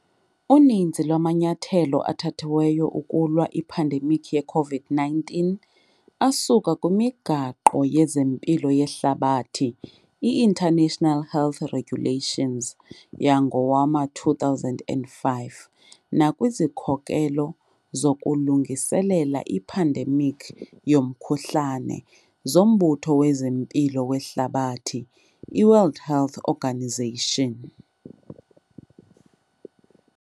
Uninzi lwamanyathelo athathiweyo ukulwa iphandemikhi yeCovid-19 asuka kwiMigaqo yezeMpilo yeHlabathi, International Health Regulations, yangowama-2005 nakwizikhokelo zokulungiselela iphandemikhi yomkhuhlane zoMbutho wezeMpilo weHlabathi, iWorld Health Organisation.